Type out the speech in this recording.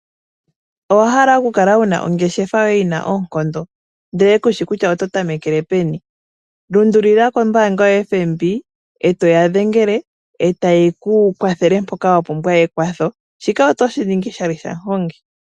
Owa hala okukala wu na ongeshefa yoye yi na oonkondo, ihe ku shi kutya oto tamekele peni? Lundulukila kombaanga yaFNB e to ya dhengele e taye ku kwathele mpoka wa pumbwa ekwatho. Shika otoshi ningi oshali shaMUhongi.